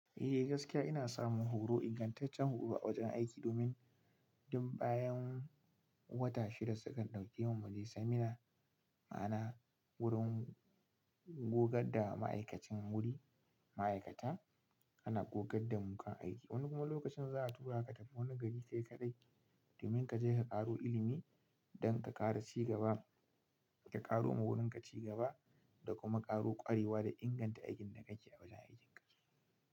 Eh gaskiya ina samun horo, ingantaccen horo a wajen aiki domin duk bayan wata shida sukan ɗauke mu mu je seminar ma'ana wurin gogganda ma'aikacin wuri, ma'aikata ana gogganda mukan aiki. Wani kuma lokacin za'a tura ka wani gari kai kaɗai domin ka je ka ƙaro ilimi don ka ƙara cigaba, ka ƙaro wurin ka cigaba da kuma ƙaro ƙwarewa da inganta aikin da kake yi a wajen aikin ka.